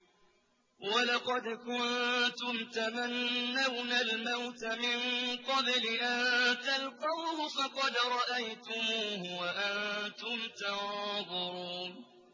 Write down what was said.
وَلَقَدْ كُنتُمْ تَمَنَّوْنَ الْمَوْتَ مِن قَبْلِ أَن تَلْقَوْهُ فَقَدْ رَأَيْتُمُوهُ وَأَنتُمْ تَنظُرُونَ